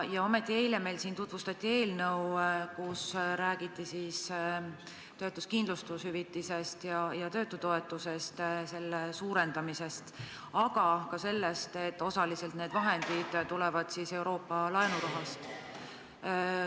Ometi tutvustati meile siin eile eelnõu, kus räägiti töötuskindlustushüvitise ja töötutoetuse suurendamisest, aga ka sellest, et osaliselt tulevad need vahendid Euroopa laenurahast.